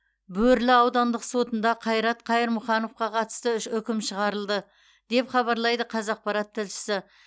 бөрлі аудандық сотында қайрат қайырмұхановқа қатысты үкім шығарылды деп хабарлайды қазақпарат тілшісі